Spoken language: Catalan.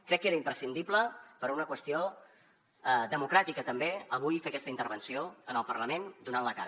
crec que era imprescindible per una qüestió democràtica també avui fer aquesta intervenció en el parlament donant la cara